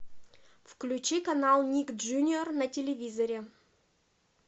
включи канал ник джуниор на телевизоре